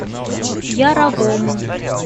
яровому